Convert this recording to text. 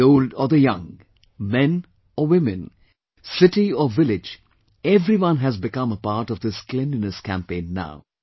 The old or the young, men or women, city or village everyone has become a part of this Cleanliness campaign now